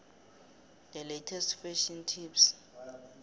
the latest fashion tips